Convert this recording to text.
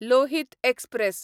Lohit express